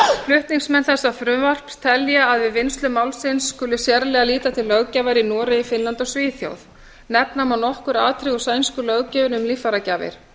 flutningsmenn þessa frumvarps telja að við vinnslu málsins skuli sérlega líta til löggjafar í noregi finnlandi og svíþjóð nefna má nokkur atriði úr sænsku löggjöfinni um líffæragjafir